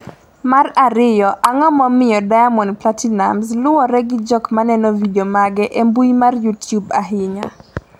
mar ariyo, Ang’o momiyo Diamond Platinumz luwre gi jok maneno vidio mage e mbui mar Youtube ahinya?